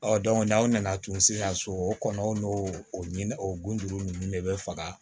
Ɔ n'aw nana tun sisan so o kɔnɔ o n'o o ɲin o gulonnen ninnu de bɛ faga